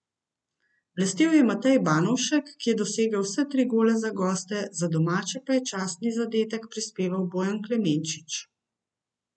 Blestel je Matej Banovšek, ki je dosegel vse tri gole za goste, za domače pa je častni zadetek prispeval Bojan Klemenčič.